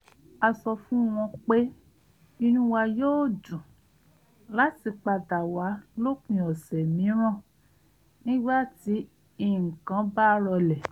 a sọ fún wọn pé inú wa yóò dùn láti padà wá lópin ọ̀sẹ̀ mìíràn nígbà tí nǹkan bá rọlẹ̀